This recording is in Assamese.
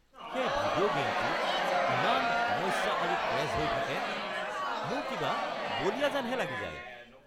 সেই ভিডিঅ' গে'মটোত ইমান সমস্যা আৰু ক্ৰেশ্ব হৈ থাকে। মোৰ কিবা বলিয়া যেনহে লাগি যায়। (জেনেৰেল জেড টু)